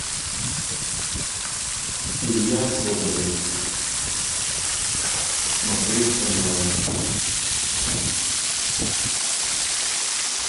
илья соболев смотреть онлайн